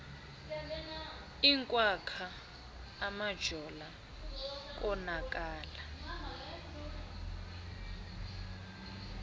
inkwakhwa umajola konakala